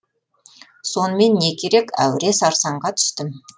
сонымен не керек әуре сарсаңға түстім